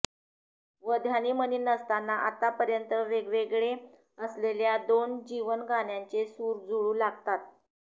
व ध्यनी मनी नसताना अत्तापर्यंत वेगवेगळे असलेल्या दोन जीवनगाण्याचे सूर जुळू लागतात